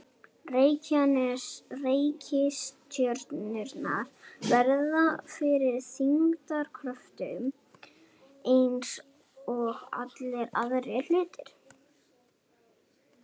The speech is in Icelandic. Reikistjörnurnar verða fyrir þyngdarkröftum eins og allir aðrir hlutir.